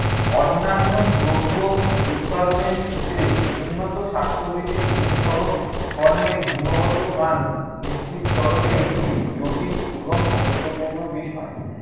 অন্যান্য দ্রব্য উৎপাদনের ক্ষেত্রে উন্নত স্বাস্থ্যবিধির অনুসরণ, পণ্যের গুণগত মান নিশ্চিতকরণের একটি জটিল এবং গুরুত্বপূর্ণ বিষয়।